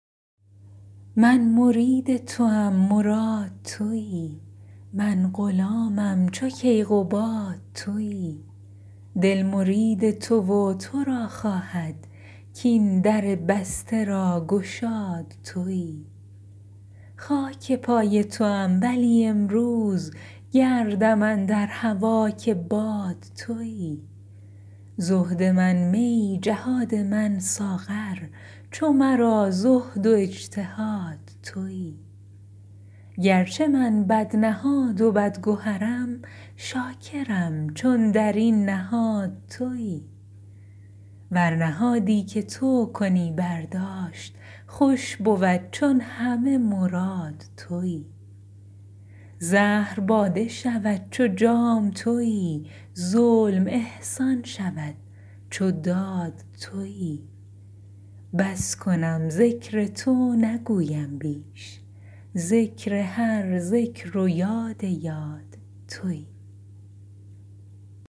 من مرید توم مراد توی من غلامم چو کیقباد توی دل مرید تو و تو را خواهد کاین در بسته را گشاد توی خاک پای توام ولی امروز گردم اندر هوا که باد توی زهد من می جهاد من ساغر چو مرا زهد و اجتهاد توی گرچه من بدنهاد و بدگهرم شاکرم چون در این نهاد توی ور نهادی که تو کنی برداشت خوش بود چون همه مراد توی زهر باده شود چو جام توی ظلم احسان شود چو داد توی بس کنم ذکر تو نگویم بیش ذکر هر ذکر و یاد یاد توی